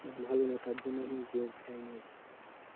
ভালো না তার জন্য আমি যাইনি আজকে,